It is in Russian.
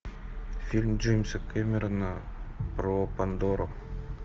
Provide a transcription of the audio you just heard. фильм джеймса кэмерона про пандору